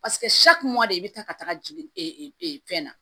i bɛ taa ka taga jigin fɛn na